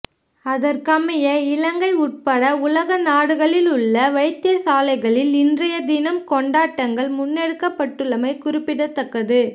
அதற்கமைய இலங்கை உட்பட உலக நாடுகளிலுள்ள வைத்தியசாலைகளில் இன்றைய தினம் கொண்டாட்டங்கள் முன்னெடுக்கப்பட்டுள்ளமை குறிப்பிடத்தக்கது